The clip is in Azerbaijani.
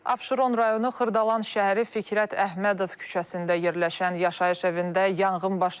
Abşeron rayonu Xırdalan şəhəri Fikrət Əhmədov küçəsində yerləşən yaşayış evində yanğın baş verib.